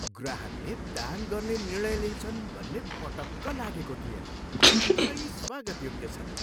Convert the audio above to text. ग्राहकले दान गर्ने निर्णय लिन्छन् भन्ने पटक्क लागेको थिएन, तर यी स्वागतयोग्य छन्।